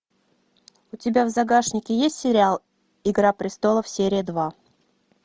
у тебя в загашнике есть сериал игра престолов серия два